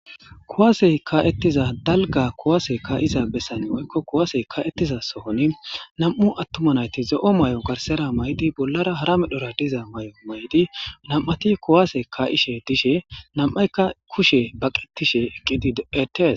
Kuwase ka'etiza dalga kuwase ka'za besan woyko kuwase ka'etiza sohoni nam'u atuma nayti zo'o may'o garsera ma'idi bolara hara medhora diza mayo mayidi nam'ati kuwase ka'ishe dishe nam'ayka kushe baqetishe eqidi betetes.